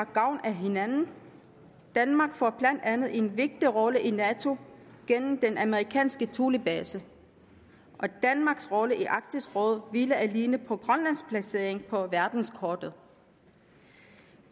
gavn af hinanden danmark får blandt andet en vigtig rolle i nato gennem den amerikanske thulebase og danmarks rolle i arktisk råd hviler alene på grønlands placering på verdenskortet